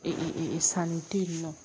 Ee sanni tɛ yen nɔ